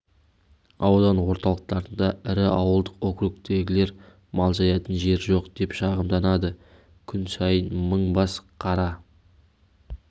аудан орталықтарында ірі ауылдық округтегілер мал жаятын жер жоқ деп шағымданады күн сайын мың бас қара